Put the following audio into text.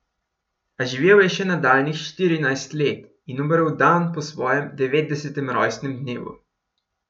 A živel je še nadaljnjih štirinajst let in umrl dan po svojem devetdesetem rojstnem dnevu.